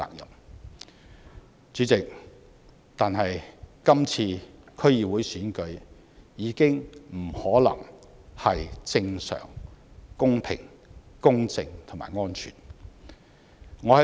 但是，主席，今次的區議會選舉已經不可能是正常、公平、公正及安全的。